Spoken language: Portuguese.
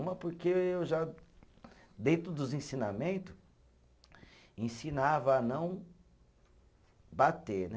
Uma porque eu já, dentro dos ensinamento, ensinava a não bater, né?